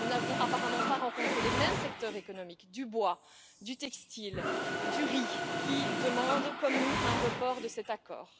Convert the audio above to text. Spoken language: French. Nous n'avons apparemment pas rencontré les mêmes secteurs économiques du bois, du textile, du riz, qui demandent, comme nous, un report de cet accord.